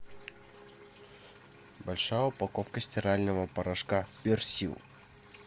большая упаковка стирального порошка персил